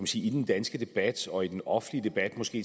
tit i den danske debat og i den offentlige debat måske